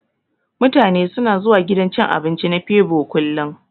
Mutane suna zuwa gidan cin abinci na febo kullun.